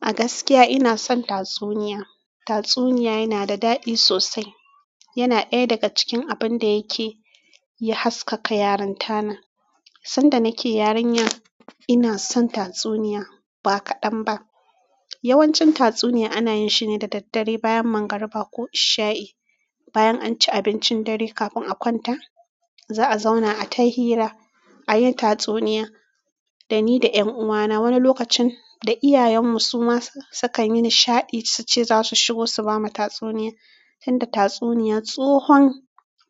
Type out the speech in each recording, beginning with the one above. A gaskiya ina son tatsuniya. Tatsuniya yana da daɗi sosai yana ɗaya daga cikin abin da yake haskaka yarintana. Sanda nake yarinya ina son tatsuniya ba kaɗan ba. Yawancin tatsuniya ana yin shi ne da daddare bayan mangariba ko ishaye. Bayan an ci abincin dare kafin a kwanta, za a zauna a ta hira, a yi tatsuniya da ni da ƴan uwana. Wani lokacin da iyayenmu suma sukan yi nishaɗi suce za su shigo su bamu tatsuniya. Tunda tatsuniya tsohon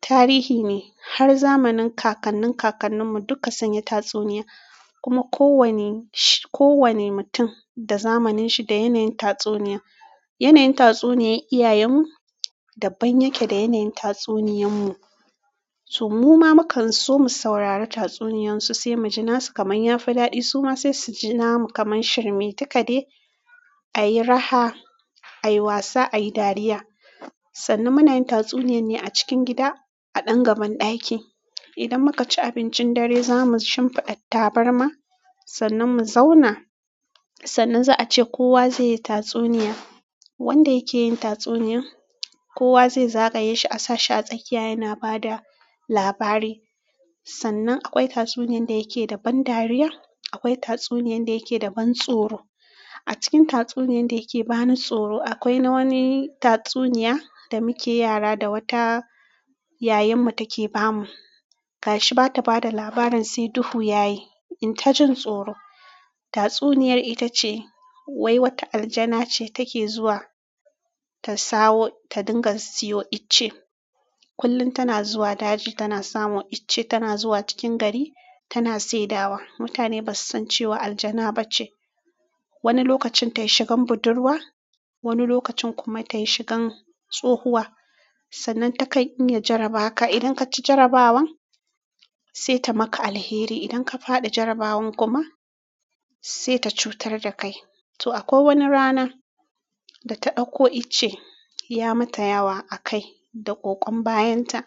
tarihi ne tunda har zamanin kakannin kakannin mu zunyi tatsuniya kuma kowane shi-kowane mutum da zamanin shi da yanayin tatsuniya. Yanayin tatsuniyar iyayenmu daban yake da yanayin tatsuniyanmu. To muma mukan so mu saurara tatsuniyarsu sai mu ji nasu kamar ya fi daɗi suma sai su ji namu kamar shirme. Duka dai a yi raha, a yi wasa, a yi dariya. Sannan muna yin tatsuniyar ne a cikin gida a ɗan gaban ɗaki. Idan muka ci abincin dare za mu shimfiɗa tabarma sannan mu zauna sannan za a ce kowa zai yi tatsuniya. Wanda yake yin tatsuniyan kowa zai zagaye shi a sa shi a tsakiya yana ba da labari. Sannan akwai tatsuniyan da yake da ban dariya, akwai tatsuniyan da yake da ban tsoro. A cikin tatsuniyan da yake bani tsoro, akwai na wani tatsuniya da muke yara da wata ƴaƴanmu take bamu. Gashi ba ta ba da labarin sai duhu ya yi, in ta jin tsoro. Tatsuniyar ita ce wai wata aljana ce take zuwa ta sawo ta dinga siyo icce. Kullum tana zuwa daji tana samo icce tana zuwa cikin gari tana sai dawa. Mutane ba su san cewa aljana ba ce. Wani lokacin ta yi shigan budurwa, wani lokacin kuma ta yi shigan tsohuwa. Sannan takan iya jarabaka. Udan kaci jarabawan se ta maka alheri idan ka faɗi jarabawan kuma se ta cuyar da kai to akwai wani rana da ta ɗauko icce ya mata yawa a kai da ƙoƙon bayanta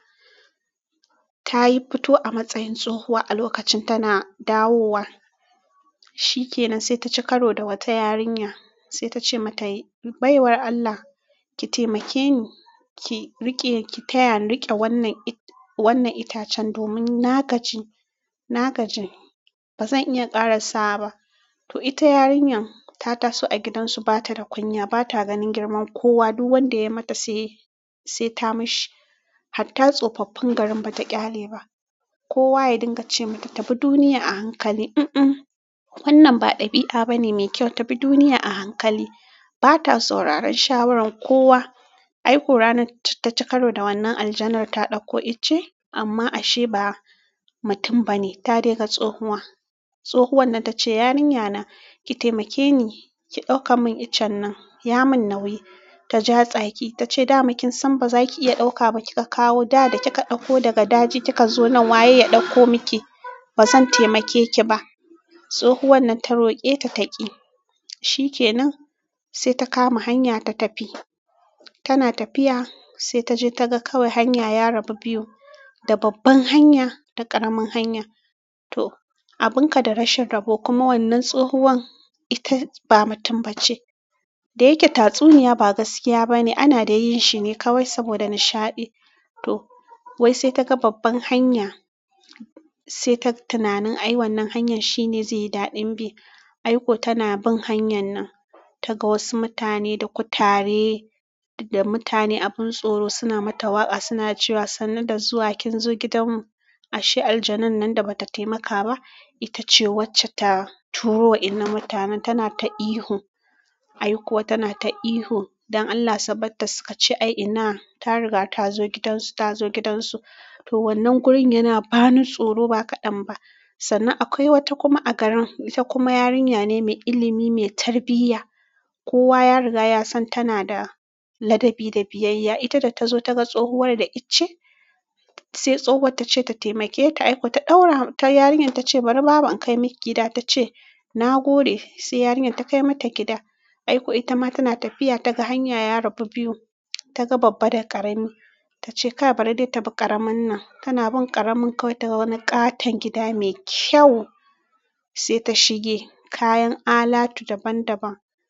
ta yi fito a matsayin tsohuwa a lokacin tana dawowa. Shikenan se taci karo da wata yarinya sai ta ce mata "Baiwar Allah, ki taimake ni ki riƙe ki taya ni riƙe wannan it-wannan itacen domin na gaji, na gaji ba zan iya ƙara sawa ba." To ita yarinyan ta taso a gidansu ba ta da kunya, ba ta ganin girman kowa. Duk wanda ya mata sai, sai ta mashi. Hatta tsofaffin garin ba ta ƙyale ba. Kowa ya dinga ce mata "Tabi duniya a hankali." "un un, wannan ba ɗabi'a bane mai kyau, tabi duniya a hankali." Ba ta sauraron shawarar kowa. Ai ko ranar ta ci karo da wannan aljanar ta ɗauko icce amma ashe ba mutum ba ne, ta dai ga tsohuwa. Tsohuwar nan ta ce "Yarinya na, ki taimake ni ki ɗauka mun itacen nan, ya mun nauyi." Ta ja tsaki ta ce "Da makinsan ba za ki iya ɗauka ba kika kawo. Da da kika ɗauko daga daji kika zo nan waye ya ɗauko miki? Ba zan taimake ki ba." Tsohuwar nan ta roƙe ta ta ƙi. Shikenan sai ta kama hanya ta tafi. Tana tafiya sai ta je ta ga kawai hanya ya rabu biyu, da babban hanya da ƙaramin hanya. To abun kada rashin rabo kuma wannan tsohuwar ita ba mutum ba ce. Da yake tatsuniya ba gaskiya ba ne, ana dai yin shi ne kawai saboda nishaɗi. To wai sai ta ga babban hanya sai ta tunani ai wannan hanyar shi ne zai yi daɗin bi. Ai ko tana bin hanyar nan ta ga wasu mutane da kutare da mutane abin tsoro suna mata waƙa suna cewa "Sannan da zuwa kin zo gidanmu." ashe aljanunnan da bata temaka ba itace ta turo waɗannan mutanen tana ta ihu ai kuwa tana ta ihu don allah sunbarta su kace ina ta riga ta zo gidansu, ta zo gidansu. To wannan gurin yana bani tsoro ba kaɗan ba. Sannan akwai wata kuma a garin ita kuma yarinya ne mai ilimi, mai tarbiyya. Kowa ya riga ya san tana da ladabi da biyayya. Ita da ta zo ta ga tsohuwar da itace sai tsohuwar ta ce ta taimake ta. Ai ko ta ɗaura ta yarinyan ta ce "Bari babu in kai miki gida." Ta ce "na gode." Sai yarinyan ta kai mata gida. Ai ko ita ma tana tafiya ta ga hanya ya rabu biyu, ta ga babba da ƙarami. Ta ce "Ka bari dai tafi ƙaramin nan." Tana bin ƙaramin kawai ta ga wani ƙaton gida mai kyau sai ta shige. Kayan alatu daban daban.